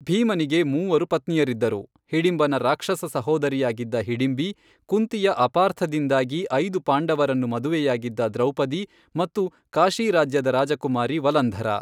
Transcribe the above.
ಭೀಮನಿಗೆ ಮೂವರು ಪತ್ನಿಯರಿದ್ದರು, ಹಿಡಿಂಬನ ರಾಕ್ಷಸ ಸಹೋದರಿಯಾಗಿದ್ದ ಹಿಡಿಂಬಿ, ಕುಂತಿಯ ಅಪಾರ್ಥದಿಂದಾಗಿ ಐದು ಪಾಂಡವರನ್ನು ಮದುವೆಯಾಗಿದ್ದ ದ್ರೌಪದಿ, ಮತ್ತು ಕಾಶಿ ರಾಜ್ಯದ ರಾಜಕುಮಾರಿ ವಲಂಧರಾ.